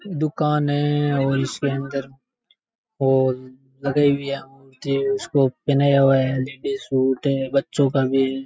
दुकान है और इसके अंदर वो लगाई हुई है मूर्ति उसको पहनाया हुआ है लेडीज़ सूट है बच्चों का भी है।